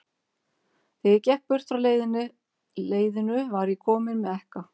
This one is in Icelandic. Þegar ég gekk burt frá leiðinu, var ég kominn með ekka.